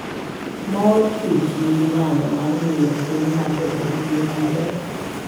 Mor Kichnigi nyalo mar miyo chuny ng'ato obed gi ngima maber.